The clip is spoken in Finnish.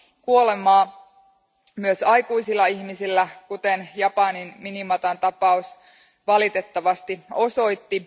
kuolemaa, myös aikuisilla ihmisillä, kuten Japanin Minamatan tapaus valitettavasti osoitti.